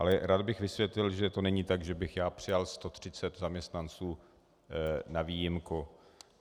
Ale rád bych vysvětlil, že to není tak, že bych já přijal 130 zaměstnanců na výjimku.